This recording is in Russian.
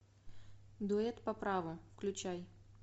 дуэт по праву включай